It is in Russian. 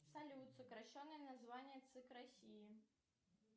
салют сокращенное название цик россии